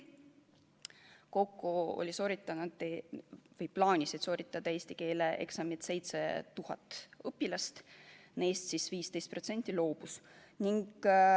Kokku plaanis sooritada eesti keele eksami 7000 õpilast, neist 15% loobus.